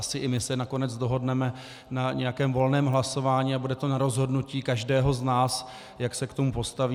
Asi i my se nakonec dohodneme na nějakém volném hlasování a bude to na rozhodnutí každého z nás, jak se k tomu postaví.